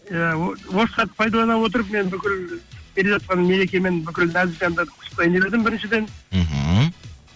иә осы сәтті пайдалана отырып мен бүкіл келе жатқан мерекемен бүкіл нәзік жандарды құттықтайын деп едім біріншіден мхм